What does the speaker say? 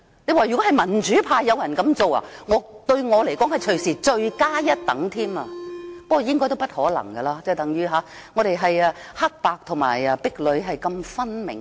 如果民主派有人這樣做，對我而言是罪加一等，不過應該不可能，因為我們是如此黑白和壁壘分明。